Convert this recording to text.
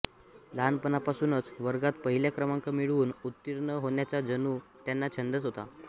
लहानपणापासूनच वर्गात पहिला क्रमांक मिळवून उत्तीर्ण होण्याचा जणू त्यांना छंदच होता